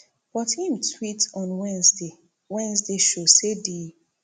but im tweet on wednesday wednesday show say di